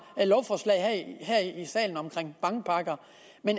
lovforslag her i salen om bankpakker